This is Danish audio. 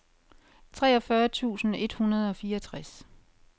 treogfyrre tusind et hundrede og fireogtres